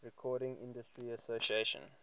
recording industry association